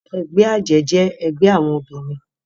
Ègbè àjè jè ègbè áwòn óbirin